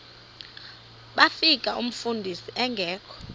bafika umfundisi engekho